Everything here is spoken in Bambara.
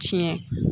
Tiɲɛ